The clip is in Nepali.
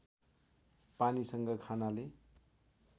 पानीसँग खानाले